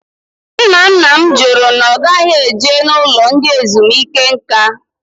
Ńnà ńnà m jụrụ na ogaghi eje n'ụlọ ndị ezumike nká